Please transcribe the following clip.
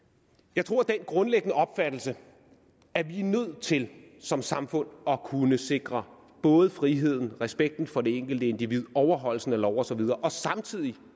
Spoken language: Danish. jeg tror det er den grundlæggende opfattelse at vi er nødt til som samfund at kunne sikre både friheden respekten for det enkelte individ og overholdelsen af loven og så videre og samtidig